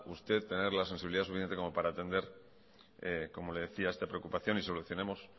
usted tener la sensibilidad suficiente como para atender como le decía esta preocupación y solucionemos